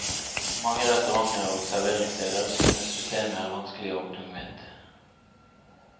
Mange restauranter og serveringssteder synes systemet er vanskelig og tungvint.